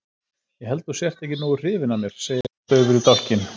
Ég held að þú sért ekki nógu hrifin af mér, segir hann daufur í dálkinn.